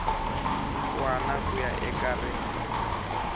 wana ku ya eka rin